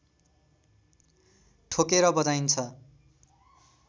ठोकेर बजाइन्छ